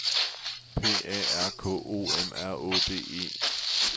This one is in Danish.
P A R K O M R Å D E